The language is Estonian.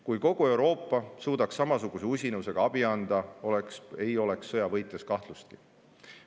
Kui kogu Euroopa suudaks samasuguse usinusega abi anda, ei oleks sõja võitjas kahtlustki.